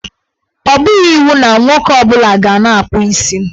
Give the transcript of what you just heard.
Ọ bụghị iwu na nwoke ọ bụla ga na-akpụ isi.